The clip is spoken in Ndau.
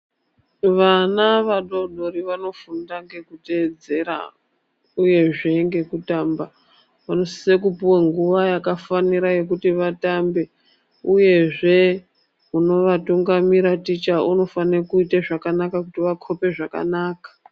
Vana vadodori vanofunda ngekutedzera uye zvengekutamba vanosisa puwa nguva yakafanira yekuti vatambe uye zveunovatungamira ticha unofana ita zvakanaka kuti vakope zvakanaka.